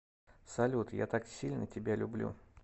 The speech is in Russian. салют я так сильно тебя люблю